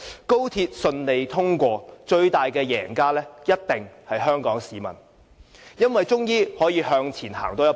高鐵順利通車，最大的贏家一定是香港市民，因為我們終於可以向前多走一步。